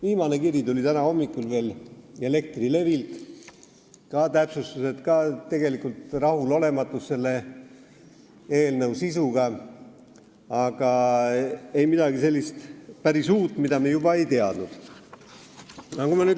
Viimane kiri tuli veel täna hommikul Elektrilevilt ja seal on ka täpsustused, tegelikult rahulolematus selle eelnõu sisuga, aga ei midagi sellist päris uut, mida me juba ei teadnud.